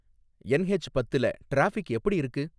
NH பத்துல traffic எப்படி இருக்கு